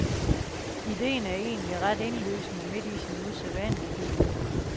Ideen er egentlig ret indlysende midt i sin usædvanlighed.